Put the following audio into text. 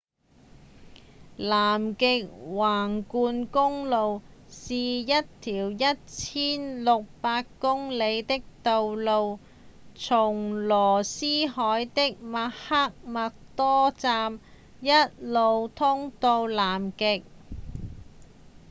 南極橫貫公路是一條一千六百公里長的道路從羅斯海的麥克默多站一路通到南極